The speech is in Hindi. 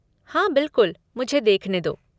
हाँ, बिलकुल, मुझे देखने दो!